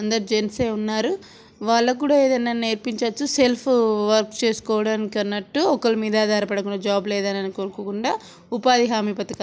అందరు జన్స్ ఏ ఉన్నారు. వాళ్ళకి కూడా ఏదైనా నేర్పించోచ్చు సెల్ఫ్ వర్క్ చేస్కొడానికి అన్నట్టు ఒకళ్ళ మీద ఆధార పడకుండా జాబ్ లేదని అను-అనుకోకుండా ఉపాధి హామీ పథక --